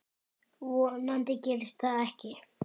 Vonandi gerist það ekki.